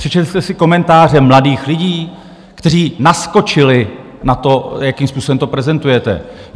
Přečetl jste si komentáře mladých lidí, kteří naskočili na to, jakým způsobem to prezentujete?